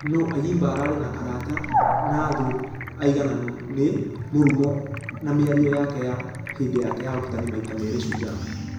Nũ ayimba ararĩ na arata na thũ aigananu nĩ ....mũrũmu na mĩario yake ya ....hĩndĩ yake ya ũrutani maita merĩ shujaa.